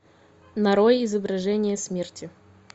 нарой изображение смерти